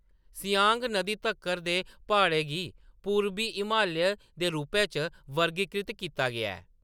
सियांग नदी तक्कर दे प्हाड़ें गी पूर्बी हिमालय दे रूपै च वर्गीकृत कीता गेआ ऐ।